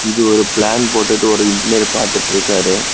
இது ஒரு பிளான் போட்டுட்டு ஒரு இன்ஜினியர் பாத்துட்ருக்காரு.